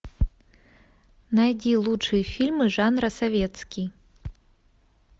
найди лучшие фильмы жанра советский